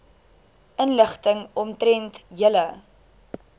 inligting omtrent julle